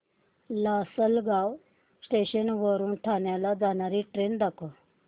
Lasalgaon station वरून ठाण्याला जाणारी ट्रेन दाखव